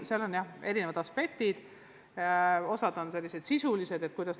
Seal on mängus erinevad aspektid, osa neist on sisulised.